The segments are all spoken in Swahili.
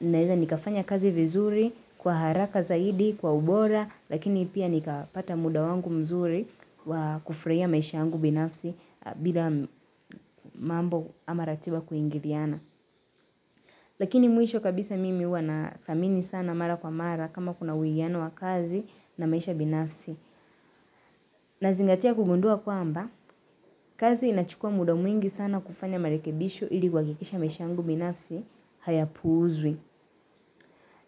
naweza nikafanya kazi vizuri kwa haraka zaidi kwa ubora. Lakini pia nikapata muda wangu mzuri wakuflrahia maisha alyangu binafsi bila mambo ama ratiba kuingiliana. Lakini mwisho kabisa mimi huwa nathamini sana mara kwa mara kama kuna uwiano wa kazi na maisha binafsi. Nazingatia kugundua kwamba, kazi inachukua muda mwingi sana kufanya marekebisho ili kuhakikisha maisha yangu binafsi hayapuuzwi.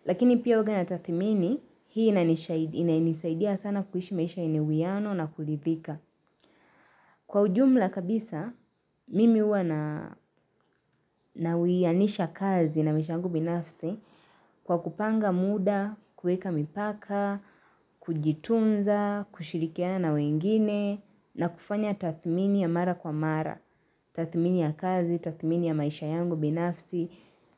Lakini pia huwaga nathathimini, hii inainisaidia sana kuishi maisha yenye uwiano na kurithika. Kwa ujumla kabisa, mimi huwa nawianisha kazi na maisha yangu binafsi kwa kupanga muda, kuweka mipaka, kujitunza, kushirikiana na wengine, na kufanya tathmini ya mara kwa mara, tathmini ya kazi, tathmini ya maisha yangu binafsi.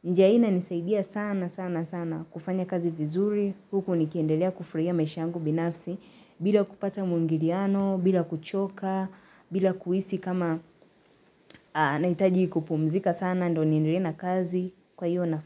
Njia hii inanisaidia sana sana sana. Kufanya kazi vizuri huku nikiendelea kufurahia maisha yangu binafsi bila kupata muingiliano bila kuchoka bila kuhisi kama nahitaji kupumzika sana ndio niendelee na kazi. Kwa hiyo nafanya.